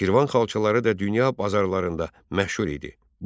Şirvan xalçaları da dünya bazarlarında məşhur idi.